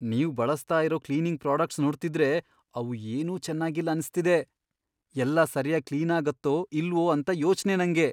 ನೀವ್ ಬಳಸ್ತಾ ಇರೋ ಕ್ಲೀನಿಂಗ್ ಪ್ರಾಡಕ್ಟ್ಸ್ ನೋಡ್ತಿದ್ರೆ ಅವು ಏನೂ ಚೆನಾಗಿಲ್ಲ ಅನ್ಸ್ತಿದೆ, ಎಲ್ಲ ಸರ್ಯಾಗ್ ಕ್ಲೀನಾಗತ್ತೋ ಇಲ್ವೋ ಅಂತ ಯೋಚ್ನೆ ನಂಗೆ.